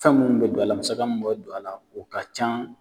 Fɛn mun be don a la, musaka mun be don a la o ka ca.